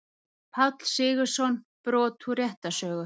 Páll Sigurðsson, Brot úr réttarsögu.